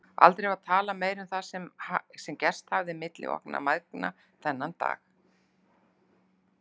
Aldrei var talað meira um það sem gerst hafði milli okkar mæðgna þennan dag.